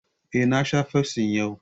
Eh, na sha fafsi yau